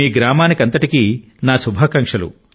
మీ గ్రామానికి నా శుభాకాంక్షలు